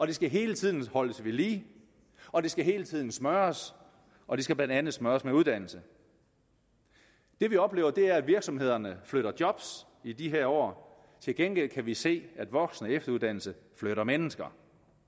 det skal hele tiden holdes ved lige og det skal hele tiden smøres og det skal blandt andet smøres med uddannelse det vi oplever er at virksomhederne flytter job i de her år til gengæld kan vi se at voksen og efteruddannelse flytter mennesker